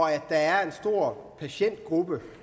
der var en stor patientgruppe